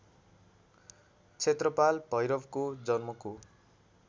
क्षेत्रपाल भैरवको जन्मको